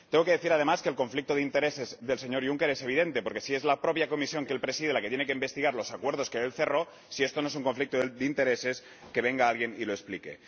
Tengo que decir, además, que el conflicto de intereses del señor Juncker es evidente, porque si es la propia Comisión que él preside la que tiene que investigar los acuerdos que él cerró, si esto no es un conflicto de intereses, que venga alguien y lo explique.